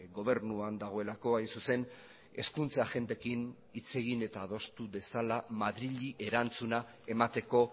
gobernuan dagoelako hain zuzen hezkuntza agenteekin hitz egin eta adostu dezala madrili erantzuna emateko